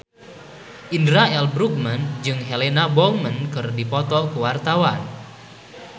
Indra L. Bruggman jeung Helena Bonham Carter keur dipoto ku wartawan